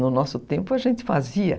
No nosso tempo a gente fazia.